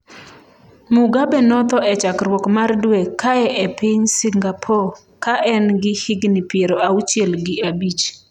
Mugabe notho e chakruok mar dwe kae e piny Singapore ka en gi higni piero auchiel gi abich.